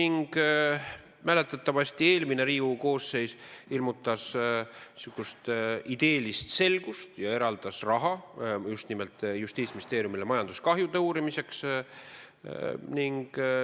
Ja mäletatavasti ilmutas eelmine Riigikogu koosseis niisugust ideelist selgust ja eraldas raha justnimelt Justiitsministeeriumile majanduskahjude uurimiseks.